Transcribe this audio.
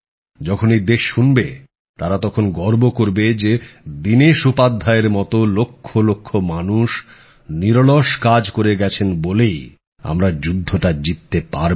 যখন এই দেশ শুনবে তারা তখন গর্ব করবে যে দীনেশ উপাধ্যায়ের মত লক্ষ লক্ষ মানুষ নিরলস কাজ করে গেছেন বলেই আমরা যুদ্ধটা জিততে পারবো